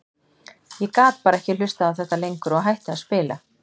Ég gat bara ekki hlustað á þetta lengur og hætti að spila.